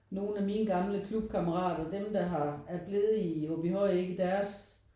Nogen af mine gamle klubkammerater dem der har er blevet i Aabyhøj deres